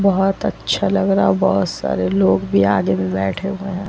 बहुत अच्छा लग रहा बहुत सारे लोग भी आगे में बैठे हुए है ।